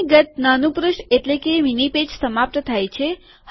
અહિ ગત નાનું પુષ્ઠ મીની પેજ સમાપ્ત થાય છે